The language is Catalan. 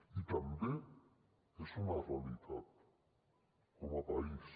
i també és una realitat com a país